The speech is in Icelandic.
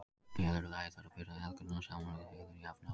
Í öðru lagi þarf að bera hegðunina saman við hegðun jafnaldra.